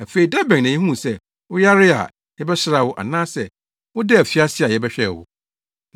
Afei da bɛn na yehuu sɛ woyaree a, yɛbɛsraa wo, anaasɛ wodaa afiase a, yɛbɛhwɛɛ wo?’